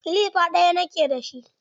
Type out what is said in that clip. Kilifa ɗaya ni ke dashi.